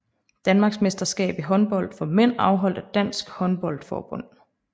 Danmarksmesterskab i håndbold for mænd afholdt af Dansk Håndbold Forbund